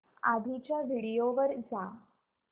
आधीच्या व्हिडिओ वर जा